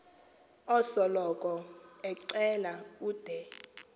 osoloko ecela ude